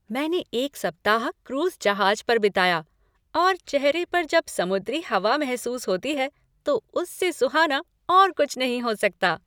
मैंने एक सप्ताह क्रूज जहाज पर बिताया, और चेहरे पर जब समुद्री हवा महसूस होती है तो उससे सुहाना और कुछ नहीं हो सकता।